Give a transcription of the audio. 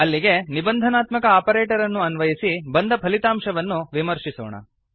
ಅಲ್ಲಿಗೆ ನಿಬಂಧನಾತ್ಮಕ ಆಪರೇಟರ್ ಅನ್ನು ಅನ್ವಯಸಿ ಬಂದ ಫಲಿತಾಂಶವನ್ನು ವಿಮರ್ಶಿಸೋಣ